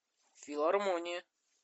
филармония